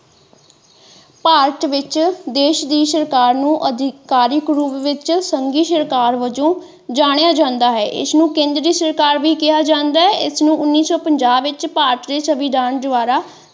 ਭਾਰਤ ਵਿੱਚ ਦੇਸ਼ ਦੀ ਸਰਕਾਰ ਨੂੰ ਅਧਿਕਾਰਿਕ ਰੂਪ ਵਿੱਚ ਸੰਘੀ ਸਰਕਾਰ ਵਜੋਂ ਜਾਣਿਆ ਜਾਂਦਾ ਹੈ ਇਸ ਨੂੰ ਕੇਂਦਰੀ ਸਰਕਾਰ ਵੀ ਕਿਹਾ ਜਾਂਦਾ ਹੈ ਇਸ ਨੂੰ ਉੰਨੀ ਸੋ ਪੰਜਾਹ ਵਿੱਚ ਭਾਰਤ ਦੇ ਸੰਵਿਧਾਨ ਦੁਆਰਾ।